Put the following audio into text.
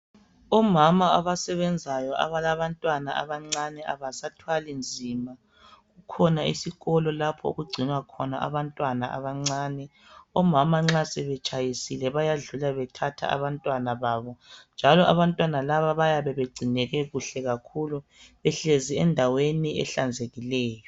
Omama abasebenzayo abalabantwana abancane abasathwali nzima, kukhona isikolo laphoo kugcinwa khona abantwana abancane, omama nxa sebetshayisile bayadlula bethatha abantwana babo ,njalo abantwana laba bayabe begcineke kuhle kakhulu behlezi endaweni ehlanzekileyo.